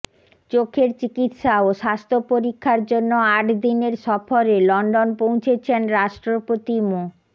চোখের চিকিৎসা ও স্বাস্থ্য পরীক্ষার জন্য আট দিনের সফরে লন্ডন পৌঁছেছেন রাষ্ট্রপতি মো